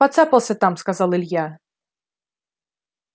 поцапался там сказал илья